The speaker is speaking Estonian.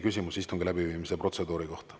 Küsimus istungi läbiviimise protseduuri kohta.